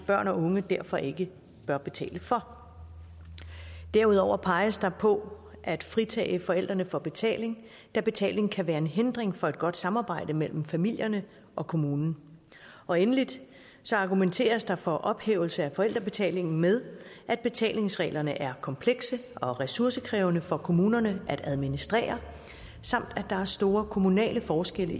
børn og unge derfor ikke bør betale for derudover peges der på at fritage forældrene for betaling da betaling kan være en hindring for et godt samarbejde mellem familierne og kommunen og endelig argumenteres der for ophævelse af forældrebetalingen med at betalingsreglerne er komplekse og ressourcekrævende for kommunerne at administrere samt at der er store kommunale forskelle